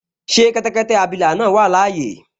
Ṣé kẹ́tẹ́kẹ́tẹ́ abilà náà wà láyé?